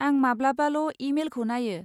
आं माब्लाबाल' इ मेलखौ नायो।